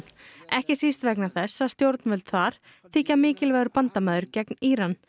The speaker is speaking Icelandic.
ekki síst vegna þess að stjórnvöld þar þykja mikilvægur bandamaður gegn Íran